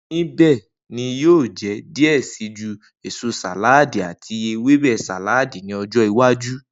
Nibẹ ni yio je diẹ ẹ sii ju eso saladi ati Ewebe saladi ni ojo iwaju.